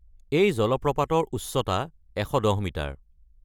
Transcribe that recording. এই জলপ্ৰপাতৰ উচ্চতা ১১০ মিটাৰ।